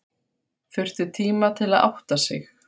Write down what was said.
Þurfti tíma til að átta sig.